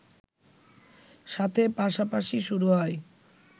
সাথে পাশাপাশি শুরু হয়